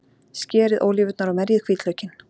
Skerið ólívurnar og merjið hvítlaukinn.